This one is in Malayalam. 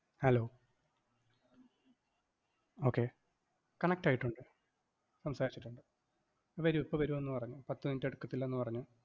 hello okay connect ആയിട്ടുണ്ട്. സംസാരിച്ചിട്ടുണ്ട്, വെരും ഇപ്പ വരുമെന്ന് പറഞ്ഞു. പത്തു minute എടുക്കത്തില്ല എന്ന് പറഞ്ഞു.